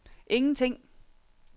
ingenting